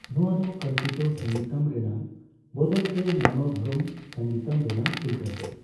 ᱱᱚᱣᱟ ᱫᱚ ᱠᱚᱞᱯᱤᱛᱚ ᱥᱚᱝᱜᱤᱛᱚᱢ ᱨᱮᱱᱟᱜ ᱵᱟᱫᱟᱞᱛᱮ ᱢᱚᱱᱚᱫᱷᱚᱨᱢᱚ ᱥᱚᱸᱜᱤᱛᱚᱢ ᱨᱮᱱᱟᱜ ᱩᱞᱴᱟᱹᱥᱮᱫ ᱾